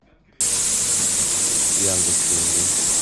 яндекс деньги